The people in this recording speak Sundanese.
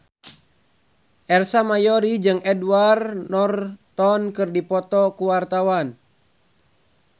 Ersa Mayori jeung Edward Norton keur dipoto ku wartawan